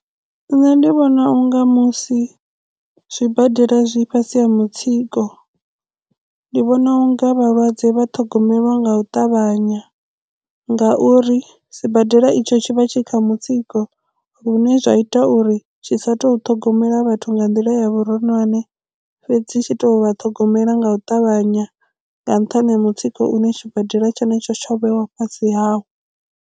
Nṋe ndi vhona unga musi zwibadela zwi fhasi ha mutsiko ndi vhona unga vhalwadze vha ṱhogomelwa nga u ṱavhanya ngauri sibadela itsho tshi vha tshi kha mutsiko lune zwa ita uri tshi sa tou ṱhogomela vhathu nga nḓila ya vhuronwane fhedzi tshi to vha ṱhogomela nga u ṱavhanya nga nṱhani ha mutsiko une tshibadela tshenetsho tsho vhewa fhasi hawo.